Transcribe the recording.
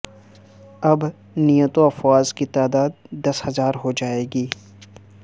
اب نیٹو افواج کی تعداد دس ہزار ہو جائے گی